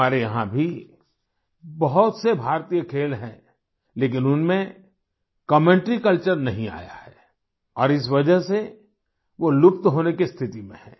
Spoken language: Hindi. हमारे यहां भी बहुत से भारतीय खेल हैं लेकिन उनमें कमेंटरी कल्चर नहीं आया है और इस वजह से वो लुप्त होने की स्थिति में हैं